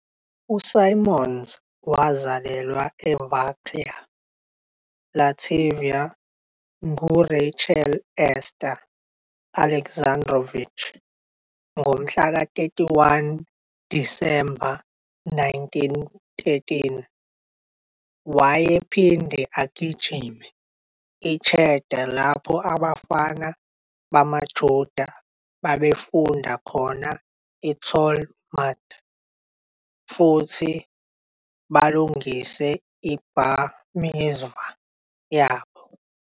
USimons wazalelwa eVarklia Latvia enguRachel Ester Alexandrowich, ngomhla ka-31 Disemba 1913. Wayephinde agijime i-cheder lapho abafana bamaJuda babefunda khona i-talmud futhi balungise i-bar mizvah yabo.